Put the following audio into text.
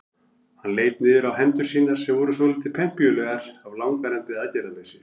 Hann leit niður á hendur sínar sem voru svolítið pempíulegar af langvarandi aðgerðarleysi.